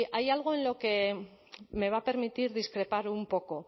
hay algo en lo que me va a permitir discrepar un poco